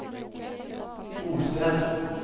bosted